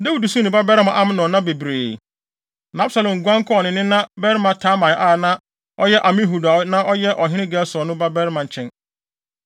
Na Dawid suu ne babarima Amnon nna bebree. Na Absalom guan kɔɔ ne nena barima Talmai a na ɔyɛ Amihud a na ɔyɛ ɔhene Gesur no babarima nkyɛn.